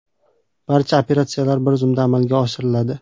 Barcha operatsiyalar bir zumda amalga oshiriladi.